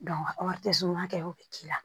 kɛ o bɛ k'i la